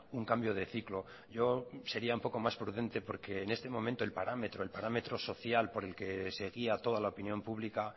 un cambio de ciclo yo sería un poco más prudente porque en este momento el parámetro el parámetro social por el que se guía toda la opinión pública